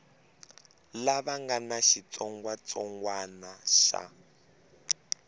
lava nga na xitsongwatsongwana xa